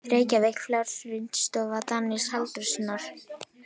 Reykjavík: Fjölritunarstofa Daníels Halldórssonar.